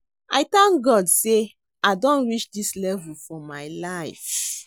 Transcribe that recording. I thank God say I don reach dis level for my life